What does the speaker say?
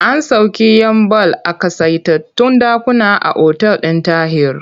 An sauƙe 'yan ball a ƙasaitattun ɗakuna a otal ɗin Tahir.